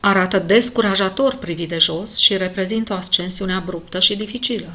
arată descurajator privit de jos și reprezintă o ascensiune abruptă și dificilă